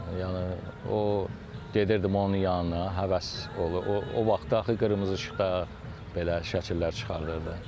Yəni o gedirdim onun yanına, həvəs olub, o vaxtı axı qırmızı işıqda belə şəkillər çıxarırdı.